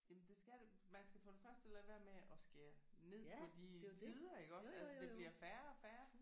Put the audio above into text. Jamen det skal det man skal for det første lade være med at skære ned på de tider iggås altså det bliver færre og færre